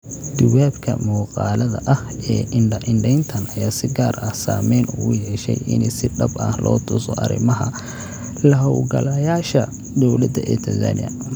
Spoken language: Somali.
Duubabka muuqaallada ah ee indha-indheyntan ayaa si gaar ah saameyn ugu yeeshay in si dhab ah loo tuso arrimaha la-hawlgalayaasha dowladda ee Tansaaniya.